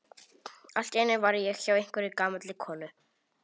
Allt í einu var ég hjá einhverri gamalli konu.